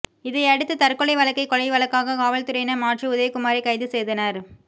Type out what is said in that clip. இதையடுத்து ா் தற்கொலை வழக்கை கொலை வழக்காக காவல்துறையினா் மாற்றி உதயகுமாரை கைது செய்தனா்